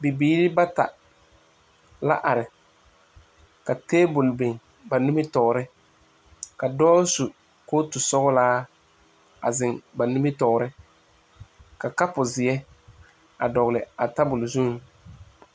Bibiiri bata la are ka tabol biŋ ba nimitɔɔre ka dɔɔ su kootu sɔglaa a zeŋ ba nimitɔɔre ka kapu ziɛ a dɔgle a tabol zuŋ.